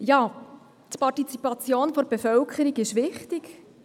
Die Partizipation der Bevölkerung ist wichtig.